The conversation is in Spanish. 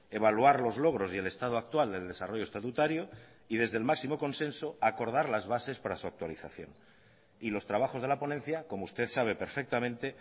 evaluar los logros y el estado actual del desarrollo estatutario y desde el máximo consenso acordar las bases para su actualización y los trabajos de la ponencia como usted sabe perfectamente